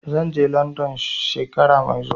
Zan je London shekara mai zuwa.